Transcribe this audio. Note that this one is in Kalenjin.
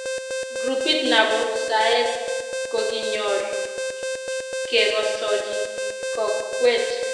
Grupit napo saet kokinyor ke kosochi kokwet